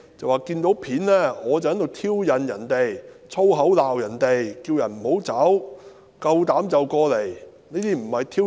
他說從片段看到我在挑釁人，說粗口罵人，叫他們不要離開，夠膽就過來。